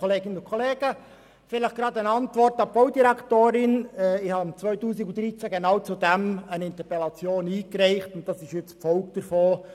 Ich habe im Jahr 2013 genau zu diesem Thema eine Interpellation eingereicht, und das Postulat ist jetzt die Folge davon.